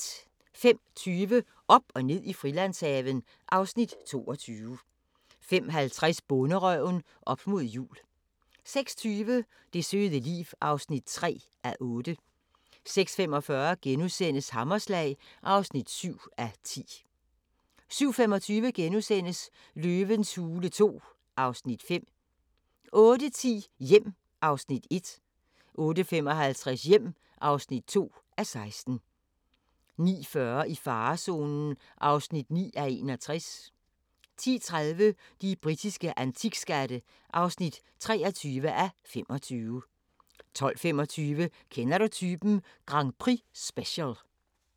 05:20: Op og ned i Frilandshaven (Afs. 22) 05:50: Bonderøven – op mod jul 06:20: Det søde liv (3:8) 06:45: Hammerslag (7:10)* 07:25: Løvens hule II (Afs. 5)* 08:10: Hjem (1:16) 08:55: Hjem (2:16) 09:40: I farezonen (9:61) 10:30: De britiske antikskatte (23:25) 12:25: Kender du typen? Grand Prix-special